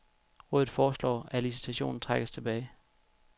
Rådet foreslår, at licitationen trækkes tilbage.